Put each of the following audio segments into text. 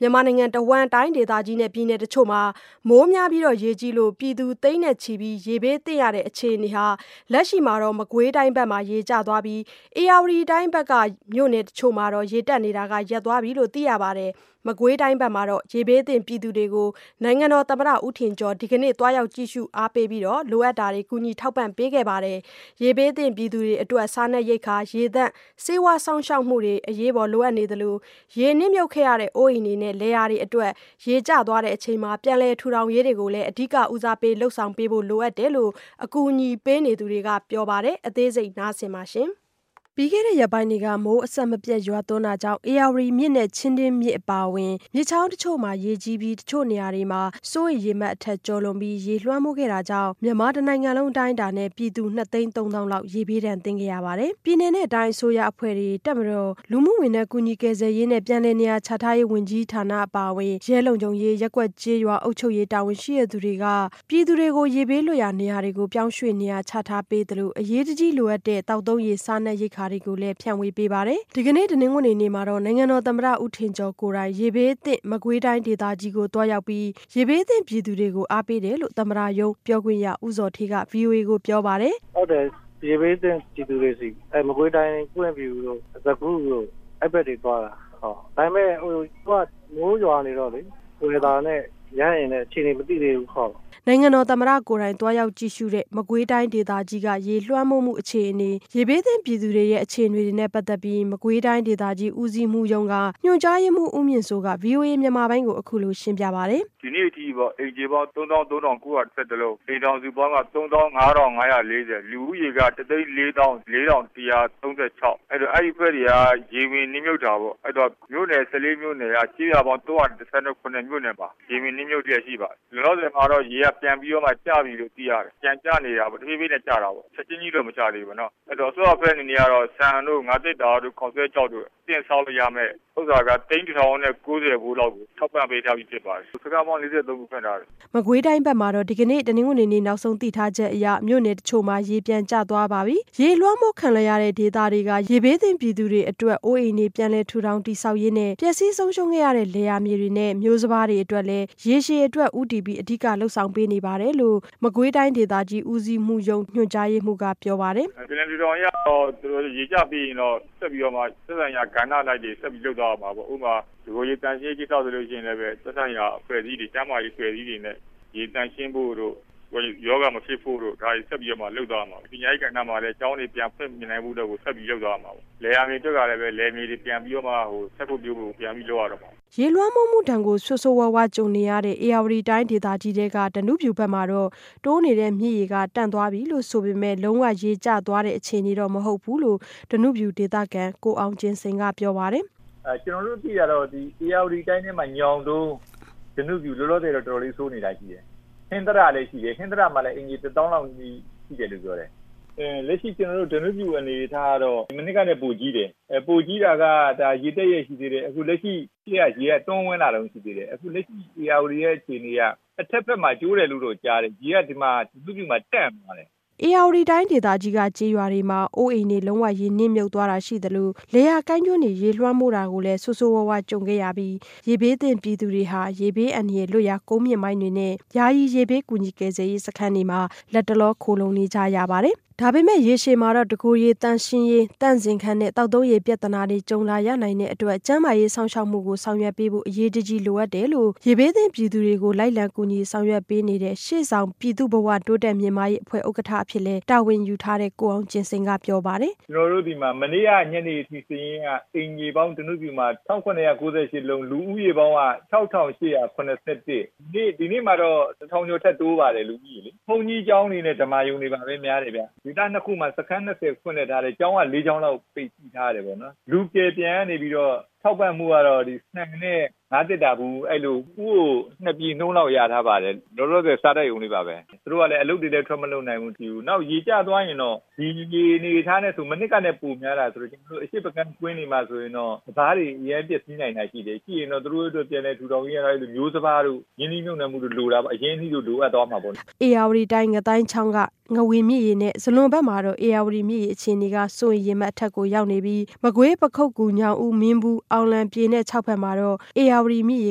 မြန်မာနိုင်ငံတဝန်း တိုင်းဒေသကြီးနဲ့ပြည်နယ်တချို့မှာ မိုးများပြီးရေကြီးလို့ပြည်သူ သိန်းချီပြီး ရေဘေးသင့်ရတဲ့အခြေအနေဟာ လက်ရှိမှာတော့ မကွေးတိုင်းဘက်မှာ ရေကျသွားပြီး ဧရာဝတီတိုင်းဘက်က မြို့နယ်တချို့မှာတော့ ရေတက်နေတာ ရပ်သွားပြီလို့ သိရပါတယ်။ မကွေးတိုင်းဘက်က ရေဘေးသင့်ပြည်သူတွေကို နိုင်ငံတော်သမ္မတဦးထင်ကျော် ဒီကနေ့ သွားရောက် ကြည့်ရှု အားပေးပြီး လိုအပ်တာတွေ ကူညီထောက်ပံ့ပေးခဲ့ပါတယ်။ ရေဘေးသင့်ပြည်သူတွေအတွက် စားနပ်ရိက္ခာနဲ့ ရေသန့်၊ ဆေးဝါး စောင့်ရှောက်မှုတွေကို အရေးပေါ်လိုအပ်နေသလို ရေနှစ်မြုပ်ခဲ့ရတဲ့အိုးအိမ်တွေနဲ့ လယ်ယာတွေအတွက် ရေကျချိန်မှာ ပြန်လည် ထူထောင်ရေးတွေကိုလည်း အဓိက ဦးစားပေး လုပ်ဆောင်ပေးဖို့ လိုအပ်တယ်လို့ အကူအညီပေးနေသူတွေက ပြောပါတယ်။ အသေးစိတ် ဆက်ပြောပြပေးပါမယ်။ ပြီးခဲ့တဲ့ရက်ပိုင်းတွေက မိုးအဆက်မပြတ်ရွာသွန်းတာကြောင့် ဧရာဝတီမြစ်နဲ့ချင်းတွင်းမြစ်အပါအဝင် မြစ် ချောင်းတချို့မှာ ရေကြီး ပြီး တချို့နေရာတွေမှာ စိုးရိမ်ရေမှတ်အထက်ကျော်လွန်ပြီး ရေလွှမ်းမိုးခဲ့တာကြောင့် မြန်မာတနိုင်ငံလုံးအတိုင်းအတာနဲ့ပြည်သူ နှစ်သိန်းသုံးသောင်းလောက် ရေဘေးဒဏ်သင့်ရပါတယ်။ ပြည်နယ်၊ တိုင်းအစိုးရအဖွဲ့တွေနဲ့ တပ်မတော်၊ လူမှုဝန်ထမ်း ကူညီ ကယ်ဆယ်ရေးနဲ့ ပြန်လည်နေရာချထားရေးဝန်ကြီးဌာနအပါအဝင် ရဲလုံခြုံရေး၊ ရပ်ကွက်ကျေးရွာ အုပ်ချုပ်ရေး တာဝန်ရှိသူတွေက ရေဘေးလွတ်ရာနေရာတွေကို ပြောင်းရွှေ့နေရာချထားပေးသလို အရေးတကြီးလိုအပ်တဲ့ သောက်သုံးရေ၊ စားနပ်ရိက္ခာတွေကို လည်း ဖြန့်ဝေပေးပါတယ်။ ဒီကနေ့ တနင်္ဂနွေနေ့မှာတော့ နိုင်ငံတော်သမ္မတ ဦးထင်ကျော်ကိုယ်တိုင် ရေဘေးသင့် မကွေးတိုင်းဒေသကြီးကို သွားရောက်ပြီး ရေဘေးသင့်ပြည်သူတွေကို အားပေးတယ်လို့ သမ္မတရုံးပြောခွင့်ရဦးဇော်ဌေးက ဗွီအိုအေကိုပြောပါတယ်။ “ဟုတ်တယ် ရေဘေးသင့်ပြည်သူတွေဆီ မကွေးတိုင်း ပွင့်ဖြူတို့၊ စကုတို့ အဲဒီဘက်ကတွေသွားတာ ။ ဒါပေမယ့် မိုးရွာနေတော့ weather နဲ့ ရဟတ်ယာဉ်နဲ့ အခြေအနေမသိသေးဘူး ဟုတ်။” နိုင်ငံတော်သမ္မတ ကိုယ်တိုင် သွားရောက်ကြည့်ရှုတဲ့ မကွေးတိုင်းဒေသကြီးက ရေလွှမ်းမိုးမှုအခြေအနေ၊ ရေဘေးသင့်ပြည်သူတွေရဲ့ အခြေအနေ တွေနဲ့ပတ်သက်ပြီး မကွေးတိုင်းဒေသကြီး ဦးစီးမှူးရုံးက ညွှန်ကြားရေးမှူးဦးမြင့်စိုးက ဗွီအိုအေမြန်မာပိုင်းကို အခုလိုရှင်းပြပါတယ်။ “ဒီနေ့အထိပေါ့ အိမ်ခြေပေါင်း ၃၃၉၂၁ လုံး ၊အိမ်ထောင်စုပေါင်းက ၃၅၅၄၀ ၊လူဦးရေးက ၁၄၄,၁၃၆ အဲဒီတော့ အဲဒါတွေက ရေတွေနှစ်မြှပ်တာပေါ့။ မြို့နယ် ၁၄ မြို့နယ်က ကျေးရွာပေါင်း ၃၁၇ မြို့နယ်ပါ ရေနှစ်မြုပ်တဲ့အထိပါ။ လောလောဆယ်မှာတော့ ရေတွေ ပြန်ကျနေတယ်လို့သိရတယ်။ တဖြည်းဖြည်းနဲ့ ရေတွေကျနေတာပေါ့နော် ချက်ချင်းကြီးတော့မကျသေးဘူးပေါ့နော် ။အဲဒီတော့ အစိုးရအဖွဲ့အနေနဲ့ကတော့ ဆန်တို့ ၊ ငါးသတ္တာတို့၊ ခေါက်စွဲခြောက်တို့ အသင့်စားလို့ရမယ့်ဟာက သိန်း ၁ ထောင်နဲ့ ၉၀ ဖိုးလောက်ကို ထောက်ပံ့ပေးထားပြီဖြစ်ပါတယ်။ စခန်းပေါင်း ၄၃ ခုဖွင့်ထားတယ်။” မကွေးတိုင်းဘက်မှာတော့ ဒီကနေ့ တနင်္ဂနွေနေ့ နောက်ဆုံးသိထားချက်အရ မြို့နယ်တချို့မှာ ရေပြန်ကျသွားပါပြီ။ ရေလွှမ်းမိုးခံ လိုက်ရတဲ့ဒေသက ရေဘေးသင့်ပြည်သူတွေအတွက် အိုးအိမ်တွေ ပြန်လည်ထူထောင်တည်ဆောက်ရေးနဲ့ ပျက်စီးဆုံးရှုံးခဲ့ရတဲ့ လယ်ယာမြေတွေနဲ့ မျိုးစပါးတွေအတွက်လည်း ရေရှည်အတွက်ဦးတည်ပြီး အဓိကလုပ်ဆောင်ပေးနေတယ်လို့ မကွေးတိုင်းဒေသ ကြီး ဦးစီးမှူးရုံး၊ ညွှန်ကြားရေးမှူးကပြောပါတယ်။ “ပြန်လည်ထူထောင်ရေးကတော့ ရေကျပြီးရင်တော့ ဆက်ပြီးတော့မှ သက်ဆိုင်ရာ ကဏ္ဍ အလိုက်တွေဆက်ပြီးတော့မှ လုပ်သွားရမှာပေါ့။ ဥပမာ- တကိုယ်ရေသန့်ရှင်းရေးကိစ္စဆိုရင် သက်ဆိုင်ရာ ကျန်းမာရေးအဖွဲ့အစည်းတွေနဲ့ ရေသန့်ရှင်းဖို့တို့ ၊ ရောဂါမဖြစ်ဖို့တို့ ဆက်ပြီးတော့ လုပ်သွားရမှာပဲ။ ပညာရေး ကဏ္ဍ မှာဆိုရင်လည်း ကျောင်းတွေဆက်ပြီးဖွင့်နိုင်ဖို့အတွက်ကို ဆက်ပြီးလုပ်သွားရမှာပဲ။ လယ်ယာမြေအတွက်ကလည်း လယ်မြေတွေပြန်ပြီးတော့မှ စိုက်ဖို့ ပျိုးဖို့အတွက်ကို ပြန်ပြီးလုပ်ရတော့မှာ။” ရေလွှမ်းမိုးမှုဒဏ်ကို ဆိုးဆိုးရွားရွားကြုံနေရတဲ့ ဧရာဝတီတိုင်းဒေသကြီး၊ ဓနုဖြူဘက်မှာတော့ တိုးနေတဲ့မြစ်ရေက တန့်သွားပြီဆို ပေမဲ့ လုံးဝ ရေကျသွားသေးတဲ့အခြေအနေတော့ မဟုတ်ဘူးလို့ ဓနုဖြူဒေသခံ ကိုအောင်ကျင်စိန်ကပြောပါတယ်။ “ကျနော်တို့သိတာတော့ ဧရာဝတီတိုင်းထဲမှာ ညောင်တုန်း၊ ဓနုဖြူ လောလောဆယ်မှာတော့ တော်တော်လေးဆိုးနေတာရှိတယ်။ ဟင်္သတလည်းရှိတယ် ဟင်္သတမှာဆိုရင် အိမ်ခြေ ၁ သောင်းလောက်ရှိတယ်လို့ပြောတယ်။ လက်ရှိ ကျနော်တို့ ဓနုဖြူအနေအထားကတော့ မနှစ်ကထက်ပိုကြီးတယ်။ ပိုကြီးတာက ရေတက်ရက်ရှိသေးတယ် အခုလက်ရှိရေက တိုးဝင်လာတုန်းရှိသေးတယ်။ အခုလက်ရှိရေက ဧရာဝတီရဲ့အခြေအနေက တဘက်ဘက်မှာ ကျိုးတယ်လို့တော့ကြားတယ်။ ရေက ဓနုဖြူမှာတန့်သွားတယ်။” ဧရာဝတီတိုင်းဒေသကြီးက ကျေးရွာတွေမှာ အိုးအိမ်တွေ လုံးဝရေနှစ်မြုပ်သွားတာရှိသလို လယ်ယာကိုင်းကျွန်းတွေ ရေလွှမ်းမိုး တာကိုလည်း ဆိုးဆိုးဝါးဝါးကြုံခဲ့ရပြီး ရေဘေးသင့်ပြည်သူတွေဟာ ရေဘေးအန္တရာယ်လွတ်ရာ ကုန်းမြင့်ပိုင်းတွေနဲ့ ယာယီ ရေဘေး ကူညီကယ်ဆယ်ရေးစခန်းတွေမှာ လတ်တလော ခိုလှုံနေကြရပါတယ်။ ဒါပေမဲ့ ရေရှည်မှာတော့ တကိုယ်ရေသန့်ရှင်းရေး၊ သန့်စင်ခန်းနဲ့ သောက်သုံးရေပြဿနာတွေ ကြုံလာရနိုင်တဲ့အတွက် ကျန်းမာရေးစောင့်ရှောက်မှုတွေကို ဆောင်ရွက်ပေးဖို့ အရေး တကြီးလိုအပ်တယ်လို့ ရေဘေးသင့်ပြည်သူတွေကို လိုက်လံကူညီဆောင်ရွက်ပေးနေတဲ့ ရှေ့ဆောင် ပြည်သူ့ဘဝ တိုးတက် မြင့်မားရေးအဖွဲ့ဥက္ကဋ္ဌအဖြစ်လည်း တာဝန်ယူထားတဲ့ ကိုအောင်ကျင်စိန်ကပြောပါတယ်။ “ကျနော်တို့ဆီမှာမနေ့ကညနေအထိစာရင်းအရ ဓနုဖြူမှာ အိမ်ခြေပေါင်း ၁၇၉၈ လုံး၊ လူဦးရေပေါင်းက ၆၈၇၁။ ဒီနေ့မှာတော့ ၁ ထောင်ကျော်ထပ်တိုးပါတယ် လူဦးရေက။ ဘုန်းကြီးကျောင်း နဲ့ ဓမ္မာရုံတွေမှာများတယ်ခင်ဗျ။ ဒေသ ၂ ခုမှာ စခန်း ၂၀ ဖွင့်လစ်ထားတယ် ကျောင်းက ၄ ကျောင်းလောက် ပိတ်ထားတယ်ပေါ့နော်။ လူကယ်ပြန်ကနေပြီးတော့ ထောက်ပံ့မူကတော့ ဆန်နဲ့ ငါးသတ္တာဗူး အဲဒီလို ၁ ဦးကို ၂ ပြည်လောက်တော့ရထားပါတယ်။ လောလောဆယ် စားရုံလေးပါပဲ။ သူတို့ကလည်း အလုပ်တွေလည်းထွက်မလုပ်နိုင်ဘူး ။ နောက်ရေကျသွားရင်တော့ ဒီရေအနေအထားနဲ့ဆို မနှစ်ကထပ်ပိုများတာဆိုတော့ အရှေ့ဘက်အခြမ်း ကွင်းတွေမှာဆိုရင်တော့ စပါးတွေ အရမ်း ပျက်စီးနိုင်တာတွေရှိတယ်။ ရှိရင်တော့ သူတို့အတွက် ပြန်လည်ထူထောင်ရေး အတွက် မျိုးစံပါးတို့၊ ရင်းနှီးမြုပ်နှံမှုတွေတော့လိုတာပေါ့ ၊ အရင်အနှီးလိုအပ်သွားမှာပေါ့လေ။” ဧရာဝတီတိုင်း ငသိုင်းချောင်းက ငဝန်မြစ်ရေနဲ့ ဇလွန်ဘက်မှာတော့ ဧရာဝတီမြစ်ရေအခြေအနေက စိုးရိမ်ရေမှတ် အထက် ရောက်နေပြီး မကွေး၊ ပခုက္ကူ၊ ညောင်ဦး မင်းဘူး အောင်လံ ပြည်နဲ့ ချောက်ဘက်မှာတော့ ဧရာဝတီမြစ်ရေ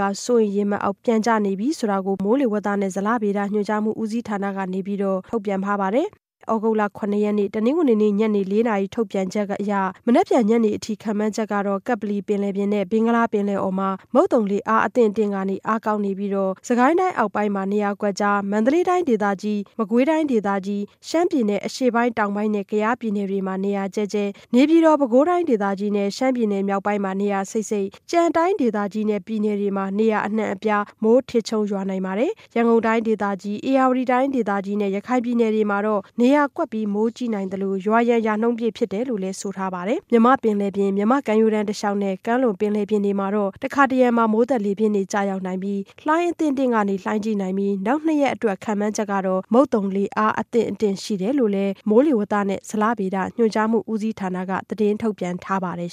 က စိုးရိမ် ရေမှတ်အောက် ပြန်ကျနေပြီဆိုတာကို ပြန်ကြားရေးဌာနကတဆင့် ထုတ်ပြန်ထားပါတယ်။ သြဂုတ်လ ၇ ရက်နေ့ ညနေ ၄နာရီ ထုတ်ပြန်ချက်အရ မနက်ဖြန်ညနေအထိ ခန့်မှန်းချက်ကတော့ ကပ္ပလီပင်လယ်ပြင်နဲ့ ဘင်္ဂလားပင်လယ်အော်မှာ မုတ်သုံလေ အားအသင့်အတင့်ကနေ အားကောင်းနေပြီး စစ်ကိုင်းတိုင်းအောက်ပိုင်းမှာ နေရာ ကွက်ကျား၊ မန္တလေးတိုင်းဒေသကြီး၊ မကွေးတိုင်းဒေသကြီး၊ ရှမ်းပြည်နယ် နဲ့ ကယားပြည်နယ်တွေမှာ နေရာကျဲကျဲ၊ နေပြည်တော်၊ ပဲခူးတိုင်းဒေသကြီးနဲ့ ရှမ်းပြည်နယ်မြောက်ပိုင်းမှာ နေရာစိပ်စိပ်နဲ့ ကျန်တိုင်းဒေသကြီးနဲ့ ပြည်နယ် တွေမှာ နေရာအနှံ့အပြား မိုးထစ်ချုန်းရွာနိုင်ပါတယ်။ ရန်ကုန်တိုင်းဒေသကြီး၊ ဧရာဝတီတိုင်းဒေသကြီးနဲ့ ရခိုင်ပြည်နယ်တွေမှာ တော့ နေရာကွက်ပြီး မိုးကြီးနိုင်သလို ရွာရန် ရာနှုန်းပြည့် ဖြစ်တယ်လို့ဆိုထားပါတယ်။ မြန်မာ့ပင်လယ်ပြင်၊ မြန်မာ့ကမ်းရိုးတန်းတစ်လျှောက်နဲ့ ကမ်းလွန် ပင်လယ်ပြင်တွေမှာတော့ တခါတစ်ရံ မိုးသက်လေပြင်းများ ကျရောက်ပြီး လှိုင်းအသင့်အတင့်မှ လှိုင်းကြီးနိုင်ပြီး နောက်နှစ်ရက်အတွက် ခန့်မှန်းချက်ကတော့ မုတ်သုံလေ အားအသင့် အတင့်ရှိတယ်လို့လည်း မိုးလေဝသနဲ့ ဇလဗေဒညွှန်ကြားမှုဦးစီးဌာနကနေ သတင်းထုတ်ပြန်ထားပါတယ်